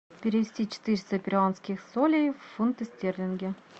перевести четыреста перуанских солей в фунты стерлинги